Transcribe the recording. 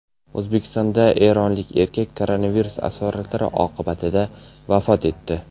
O‘zbekistonda eronlik erkak koronavirus asoratlari oqibatida vafot etdi.